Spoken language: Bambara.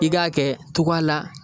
I k'a kɛ togoya la